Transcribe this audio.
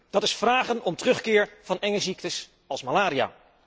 Dat is vragen om terugkeer van enge ziektes als malaria.